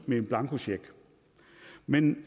med en blankocheck men